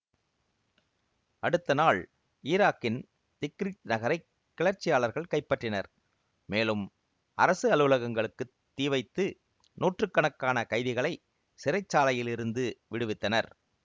அடுத்த நாள் ஈராக்கின் திக்ரித் நகரை கிளர்ச்சியாளர்கள் கைப்பற்றினர் மேலும் அரசு அலுவலகங்களுக்குத் தீ வைத்து நூற்று கணக்கான கைதிகளை சிறைச்சாலையிலிருந்து விடுவித்தனர்